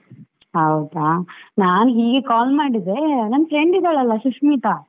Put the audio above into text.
ಹೌದಾ, ನಾನು ಹೀಗೆ call ಮಾಡಿದ್ದೆ, ನನ್ನ friend ಇದ್ದಾಳೆ ಅಲಾ ಸುಶ್ಮಿತಾ.